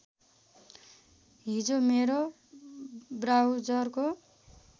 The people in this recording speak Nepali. हिजो मेरो ब्राउजरको